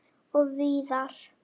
Og víðar.